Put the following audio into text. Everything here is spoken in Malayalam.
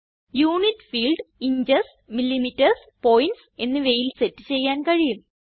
unit field inches millimetre points എന്നിവയിൽ സെറ്റ് ചെയ്യാൻ കഴിയും